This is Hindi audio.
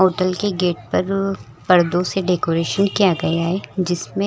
होटल के गेट पर पर्दों से डेकोरेशन किया गया है जिसमें --